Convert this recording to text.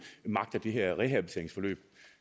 magter det her rehabiliteringsforløb